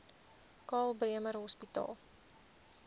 karl bremer hospitaal